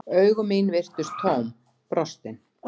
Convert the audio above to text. Augu mín virtust tóm, brostin.